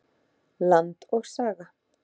Land og saga.